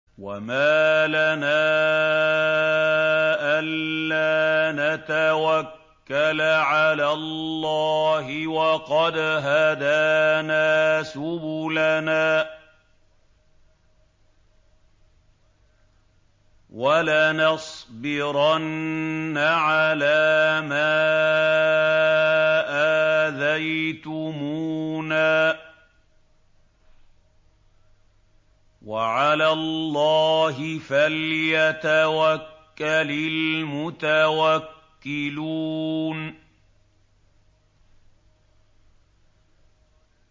وَمَا لَنَا أَلَّا نَتَوَكَّلَ عَلَى اللَّهِ وَقَدْ هَدَانَا سُبُلَنَا ۚ وَلَنَصْبِرَنَّ عَلَىٰ مَا آذَيْتُمُونَا ۚ وَعَلَى اللَّهِ فَلْيَتَوَكَّلِ الْمُتَوَكِّلُونَ